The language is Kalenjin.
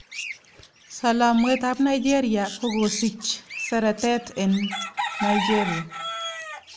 Salamwet apNigeria k kokosich seretet en nigeri